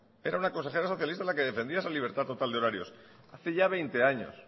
era una consejera socialista la que defendía esa libertad total de horarios hace ya veinte años